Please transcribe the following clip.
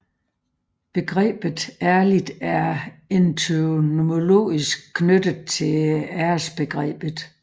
Begrebet ærlig er etymologisk knyttet til æresbegrebet